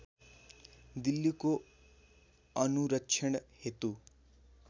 दिल्लीको अनुरक्षण हेतु